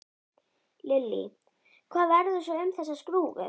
Lillý: Hvað verður svo um þessa skrúfu?